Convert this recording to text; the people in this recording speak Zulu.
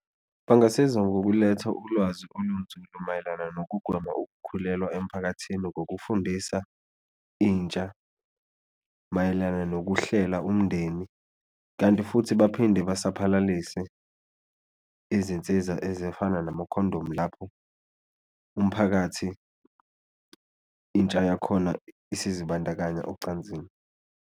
Bangasiza ngokuletha ulwazi olunzulu mayelana nokugwema ukukhulelwa emphakathini ngokufundisa intsha mayelana nokuhlela umndeni, kanti futhi futhi baphinde basaphalalise izinsiza ezifana namakhondomu lapho umphakathi intsha yakhona isizibandakanya ocansini.